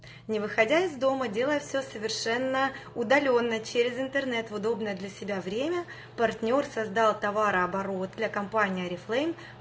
не выходя из дома делая все совершенно удалённо через интернет в удобное для себя время партнёр создал товарооборот для компании орифлейм